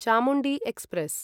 Chamundi express